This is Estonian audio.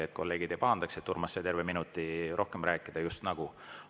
Nüüd kolleegid ei pahanda, et Urmas sai terve minuti rohkem rääkida justnagu.